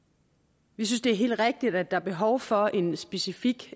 vi synes at det er helt rigtigt at der er behov for en specifik